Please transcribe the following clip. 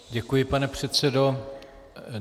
Děkuji, pane předsedo.